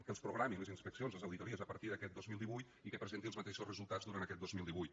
que programi les inspeccions les auditories a partir d’aquest dos mil divuit i que presenti els mateixos resultats durant aquest dos mil divuit